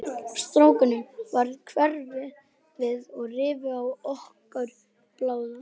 Strákunum varð hverft við og rifu í okkur báðar.